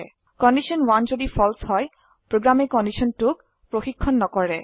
condition 1 যদি ফালছে হয় প্ৰোগ্ৰামে কণ্ডিশ্যন 2ক প্ৰশিক্ষন নকৰে